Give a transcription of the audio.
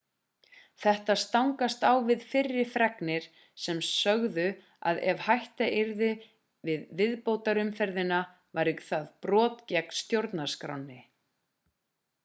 þetta stangast á við fyrri fregnir sem sögðu að ef hætta yrði við viðbótarumferðina væri það brot gegn stjórnarskránni